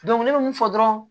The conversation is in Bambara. ne bɛ mun fɔ dɔrɔn